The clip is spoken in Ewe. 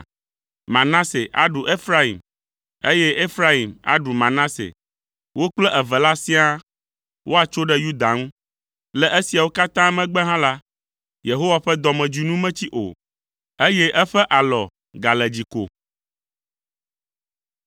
Manase aɖu Efraim, eye Efraim aɖu Manase, wo kple eve la siaa woatso ɖe Yuda ŋu. Le esiawo katã megbe hã la, Yehowa ƒe dɔmedzoe nu metsi o, eye eƒe alɔ gale dzi ko.